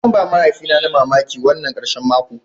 Zan ba mahaifina na mamaki wannan karshen mako.